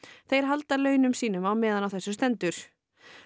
þau halda launum sínum meðan á þessu stendur